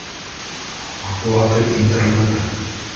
оплата интернета